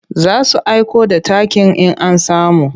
Za su aiko da takin in an samu.